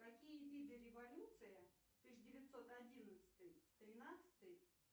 какие виды революция тысяча девятьсот одиннадцатый тринадцатый